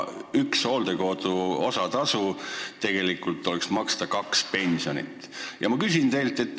Üks hooldekodu kohatasu võrdub tegelikult kahe pensioniga.